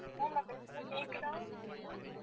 ma'am நான் பேசறது கேக்குதா